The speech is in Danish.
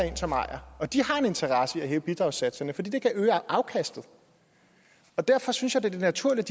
ind som ejere og de har en interesse i at hæve bidragssatserne for det kan øge afkastet derfor synes jeg det er naturligt